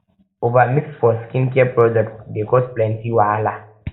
over mix mix for skincare products dey cause plenty wahala